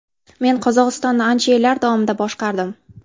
Men Qozog‘istonni ancha yillar davomida boshqardim.